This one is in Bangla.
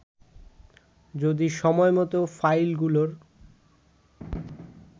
যদি সময়মত ফাইলগুলোর